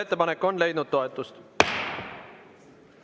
Ettepanek on leidnud toetust.